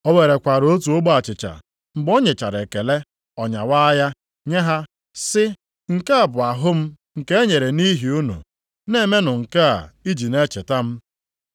O werekwara otu ogbe achịcha, mgbe o nyechara ekele, ọ nyawaa ya nye ha sị, “Nke a bụ ahụ m nke e nyere nʼihi unu. Na-emenụ nke a iji na-echeta m.”